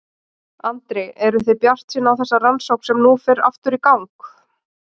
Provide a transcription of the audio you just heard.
Andri: Eru þið bjartsýn á þessa rannsókn sem nú fer aftur í gang?